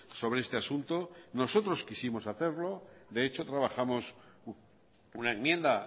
sobre este asunto nosotros quisimos hacerlo de hecho trabajamos una enmienda